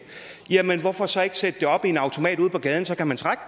jamen hvorfor så ikke sætte det op i en automat ude på gaden så kan man trække